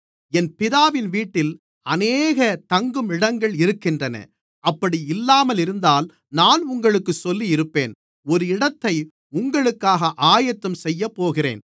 என் பிதாவின் வீட்டில் அநேக தங்கும் இடங்கள் இருக்கின்றன அப்படி இல்லாமலிருந்தால் நான் உங்களுக்குச் சொல்லியிருப்பேன் ஒரு இடத்தை உங்களுக்காக ஆயத்தம் செய்யப்போகிறேன்